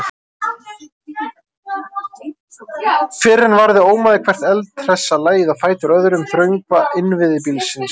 Fyrr en varði ómaði hvert eldhressa lagið á fætur öðru um þrönga innviði bílsins.